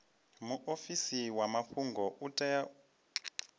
muofisi wa mafhungo u tea